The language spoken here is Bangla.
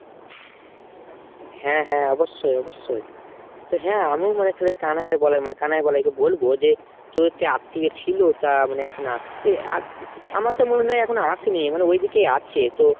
হ্যাঁ হ্যাঁ অবশ্যই অবশ্যই। তো হ্যাঁ মানে আমিও তালে মানে কানাই আর বলাই মানে কানাই বলাই কে বলবো যে তোদের তো আত্মীয় ছিল তা মানে এখন আসছে আমার তো মনে হয় এখনো আসে নি মানে ওইদিকেই আছে তো